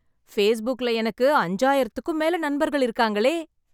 ஃபேஸ்புக்ல எனக்கு அஞ்சாயிரத்துக்கும் மேல நண்பர்கள் இருக்காங்களே...